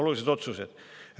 –, olulised otsused.